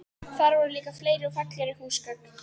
Þar voru líka fleiri og fallegri húsgögn.